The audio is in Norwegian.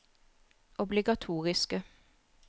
obligatoriske